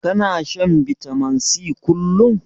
Kana shan bitamin C kullum?